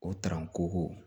O ko